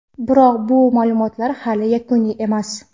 Biroq, bu ma’lumotlar hali yakuniy emas.